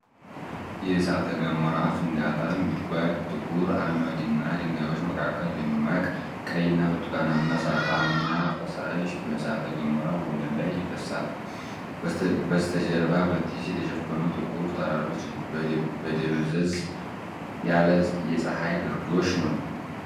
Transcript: የእሳተ ገሞራ ፍንዳታን ጉድጓድ ። ጥቁር አመድና ድንጋዮች መካከል ደማቅ ቀይና ብርቱካናማ እሳታማ ፈሳሽ በእሳተ ገሞራው ወለል ላይ ይፈስሳል። በስተጀርባ በጢስ የተሸፈኑ ጥቁር ተራሮች በደብዘዝ ያለ የፀሐይ ግርዶሽ ነው።